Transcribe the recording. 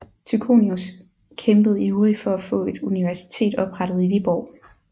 Tychonius kæmpede ivrig for at få et universitet oprettet i Viborg